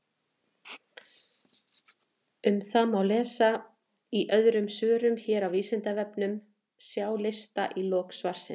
Um það má lesa í öðrum svörum hér á Vísindavefnum, sjá lista í lok svarsins.